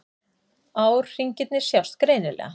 Árhringirnir sjást greinilega.